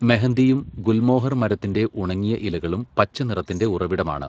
മെഹന്ദിയും ഗുൽമോഹർ മരത്തിന്റെ ഉണങ്ങിയ ഇലകളും പച്ച നിറത്തിന്റെ ഉറവിടമാണ്.